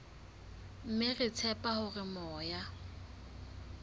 mme re tshepa hore moya